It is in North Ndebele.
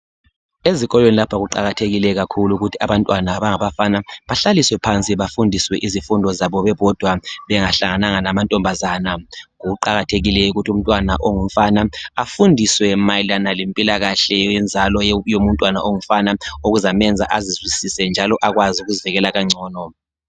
Ezikolweni lapha kuqakathekile kakhulu ukuthi abantwana abangabafana bahlaliswe phansi bafundiswe izifundo zabo bebodwa bengahlangananga lamantombazana. Kuqakathekile ukuthi umntwana ongumfana afundiswe mayelana lempilakahle yenzalo yomntwana ongumfana okuzamenza azizwisise njalo akwazi ukuzimela kangcono.